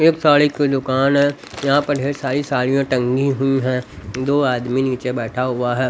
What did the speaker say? एक साड़ी की दुकान है यहां पर ढेर सारी साड़ियां टंगी हुई है दो आदमी नीचे बैठा हुआ है।